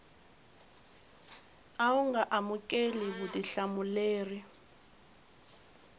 a wu nga amukeli vutihlamuleri